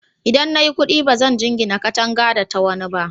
Idan na yi kuɗi, ba zan jingina katangata da ta wani ba.